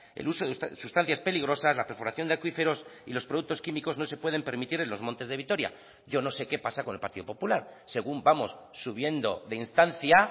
el uso de sustancias peligrosas la perforación de acuíferos y los productos químicos no se pueden permitir en los montes de vitoria yo no sé que pasa con el partido popular según vamos subiendo de instancia